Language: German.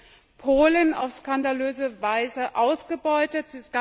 aus Polen, auf skandalöse Weise ausgebeutet.